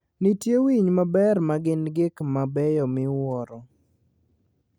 Nitie winy mang'eny ma gin gik mabeyo miwuoro.